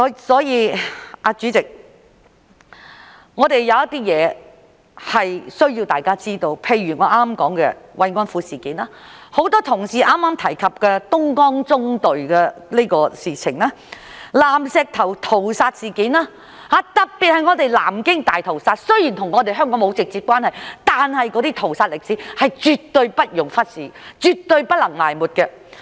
所以，主席，有一些事情是需要讓大家知道的，例如我剛才所說的慰安婦事件，很多同事剛才提及的東江縱隊的事情、南石頭屠殺事件，特別是南京大屠殺，雖然與香港沒有直接關係，但是那些屠殺歷史是絕對不容忽視，絕對不能埋沒的。